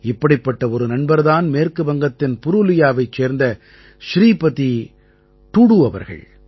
இப்படிப்பட்ட ஒரு நண்பர் தான் மேற்கு வங்கத்தின் புரூலியாவைச் சேர்ந்த ஸ்ரீபதி டூடூ அவர்கள்